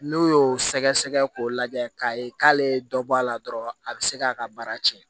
N'u y'o sɛgɛsɛgɛ k'o lajɛ k'a ye k'ale ye dɔ bɔ a la dɔrɔn a bɛ se k'a ka baara tiɲɛ